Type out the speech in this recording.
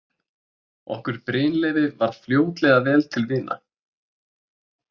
Okkur Brynleifi varð fljótlega vel til vina.